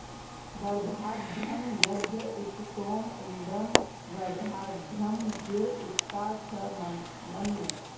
वर्धाद्यं यज्ञ उत सोम इन्द्रं वर्धाद्ब्रह्म गिर उक्था च मन्म